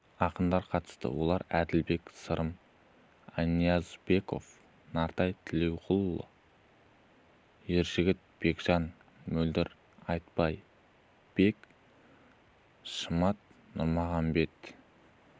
ақындар қатысты олар әділбек сырым аянниязбеков нартай тілеуқұл ержігіт бекжан мөлдір айтбай бек шымат нұрмұхамед